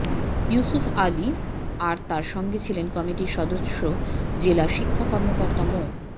ইফসুফ আলী আর তার সঙ্গে ছিলেন কমিটির সদস্য জেলা শিক্ষা কর্মকর্তা মো